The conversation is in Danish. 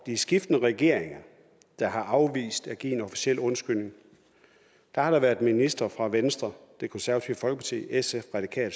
de skiftende regeringer der har afvist at give en officiel undskyldning har der været ministre fra venstre det konservative folkeparti sf